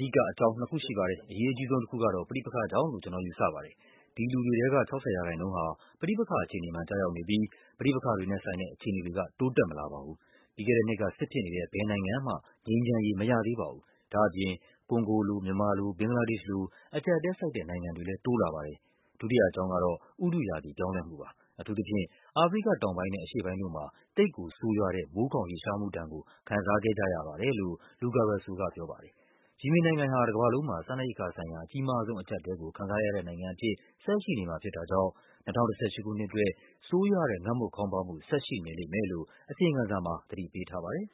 ဓိကအကြောင်းနှစ်ခုရှိပါတယ်။ အရေးအကြီးဆုံးတခုကတော့ ပဋိပက္ခကြောင့်လို့ ကျနော်ယူဆပါတယ်။ ဒီလူတွေထဲက ၆၀% ဟာ ပဋိပက္ခအခြေအနေမှာ ကျရောက်နေပြီး ပဋိပက္ခတွေနဲ့ဆိုင်တဲ့ အခြေအနေတွေက တိုးတက်မလာပါဘူ။ ပြီးခဲ့တဲ့နှစ်က စစ်ဖြစ်နေတဲ့ ဘယ်နိုင်ငံမှ ငြိမ်းချမ်းရေးမရသေးပါဘူး။ ဒါ့အပြင် ကွန်ဂိုလို၊ မြန်မာလို၊ ဘင်္ဂလားဒေ့ရှ်လို အကျပ်အတည်းဆိုက်တဲ့ နိုင်ငံတွေလည်းတိုးလာပါတယ်။ ဒုတိယအကြောင်းကတော့ ဥတုရာသီပြောင်းလဲမှုပါ။ အထူးသဖြင့် အာဖရိကတောင်ပိုင်းနဲ့ အရှေ့ ပိုင်းတို့မှာ သိပ်ကိုဆိုးရွားတဲ့ မိုးခေါင်ရေရှားမှုဒဏ်ကို ခံစားခဲ့ကြရပါတယ်။” လို့ Luca Russo ကပြောပါတယ်။ ယီမင်နိုင်ငံဟာ တကမ္ဘာလုံးမှာ စားနပ်ရိက္ခာဆိုင်ရာ အကြီးမားဆုံးအကျပ်အတည်းကို ခံစားရတဲ့နိုင်ငံအဖြစ် ဆက်ရှိနေမှာဖြစ်တာ ကြောင့် ၂၀၁၈ ခုနှစ်အတွက် ဆိုးရွားတဲ့ ငတ်မွတ်ခေါင်းပါးမှု ဆက်ရှိနေလိမ့်မယ်လို့ အစီရင်ခံစာမှာ သတိပေးထားပါတယ်